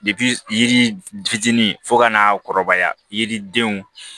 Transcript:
yiri fitinin fo ka n'a kɔrɔbaya yiridenw